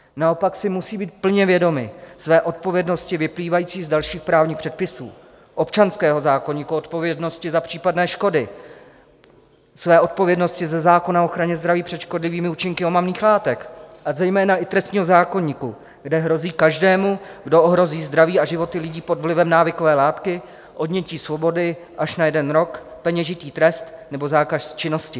Naopak si musí být plně vědomi své odpovědnosti vyplývající z dalších právních předpisů, občanského zákoníku, odpovědnosti za případné škody, své odpovědnosti ze zákona o ochraně zdraví před škodlivými účinky omamných látek, a zejména i trestního zákoníku, kde hrozí každému, kdo ohrozí zdraví a životy lidí pod vlivem návykové látky, odnětí svobody až na jeden rok, peněžitý trest nebo zákaz činnosti.